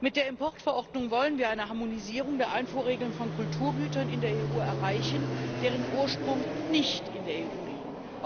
Mit der Importverordnung wollen wir eine Harmonisierung der Einfuhrregeln von Kulturgütern in der EU erreichen, deren Ursprung nicht in der EU liegt.